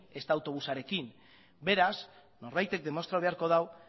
ezta autobusarenik ere ez beraz norbaitek demostratu beharko du